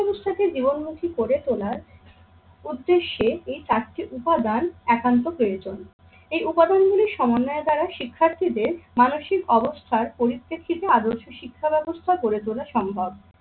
শিক্ষা ব্যবস্থাকে জীবনমুখী করে তোলার উদ্দেশ্যে এই চারটি উপাদান একান্ত প্রয়োজন। এই উপাদানগুলির সমন্বয়ের দ্বারা শিক্ষার্থীদের মানসিক অবস্থার পরিপ্রেক্ষিতে আদর্শ শিক্ষা ব্যবস্থা গড়ে তোলা সম্ভব।